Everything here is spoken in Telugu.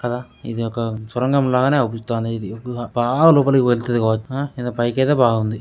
కదా ఇది ఒక సొరంగం లాగే అవూపిస్తానది ఇది. బాగా లోపలికి వెలతది కావచ్చు. ఇది పైకి అయితే బాగుంది.